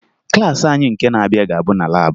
Klaasị anyị nke na-abịa ga-abụ na laabụ